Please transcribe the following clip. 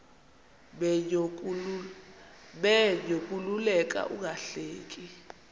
menyo kukuleka ungahleki